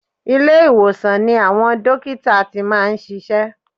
Ilé ìwòsan ni àwọn dókítà ti máa ń ṣiṣẹ́.